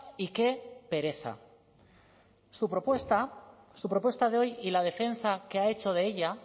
y qué pereza su propuesta su propuesta de hoy y la defensa que ha hecho de ella